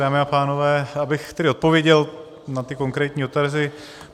Dámy a pánové, abych tedy odpověděl na ty konkrétní dotazy.